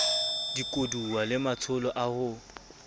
dikoduwa le matsholo a ho